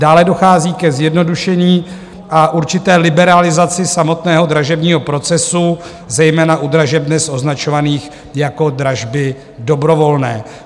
Dále dochází ke zjednodušení a určité liberalizaci samotného dražebního procesu, zejména u dražeb dnes označovaných jako dražby dobrovolné.